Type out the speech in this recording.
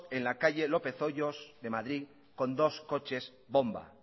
en la calle lópez hoyos de madrid con dos coches bomba